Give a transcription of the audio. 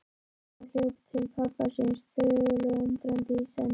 Sóla hljóp til pabba síns, þögul og undrandi í senn.